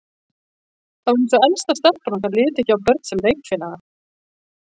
Það var eins og elsta stelpan okkar liti ekki á börn sem leikfélaga.